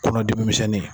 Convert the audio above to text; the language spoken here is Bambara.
Kɔnɔdimi misɛnnin